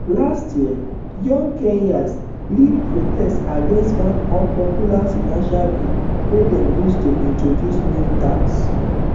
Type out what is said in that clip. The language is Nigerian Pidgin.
last year young kenyans lead protest against one unpopular finance bill wey dem wan use to introduce new taxes